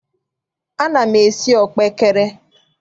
Ana m esi ọkpaekere.